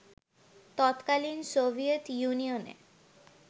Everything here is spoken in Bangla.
তৎকালীন সোভিয়েত ইউনিয়নে